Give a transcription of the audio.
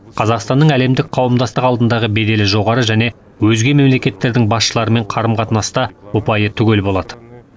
қазақстанның әлемдік қауымдастық алдындағы беделі жоғары және өзге мемлекеттердің басшыларымен қарым қатынаста ұпайы түгел болады